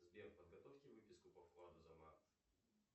сбер подготовьте выписку по вкладу за март